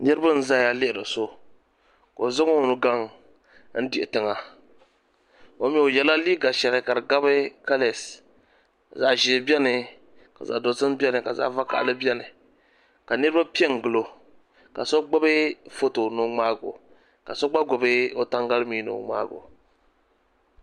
Niraba n ʒɛya lihiri so ka o zaŋ o nu gaŋ n diho tiŋa o yɛla liiga shɛli ka di gabi kalees zaɣ ʒiɛ biɛni ka zaɣ dozim biɛni ka zaɣ vakaɣili biɛni ka niraba pɛ n gili o ka so gbubi foto ni o ŋmaa gi oka so gba gbubi o tangali mii ni o ŋmaago